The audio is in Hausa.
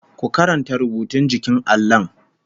Ku karanta rubutun jikin allon!